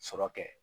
Sɔrɔ kɛ